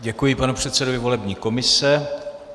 Děkuji panu předsedovi volební komise.